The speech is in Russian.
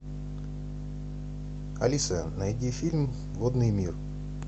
алиса найди фильм водный мир